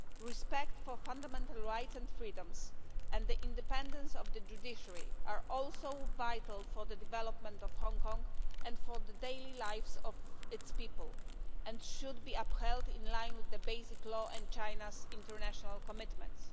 Respect for fundamental rights and freedoms and the independence of the judiciary are also vital for the development of Hong Kong, and for the daily lives of its people, and should be upheld in line with the Basic Law and China's international commitments.